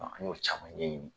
An' y'o caman ɲɛ ɲini.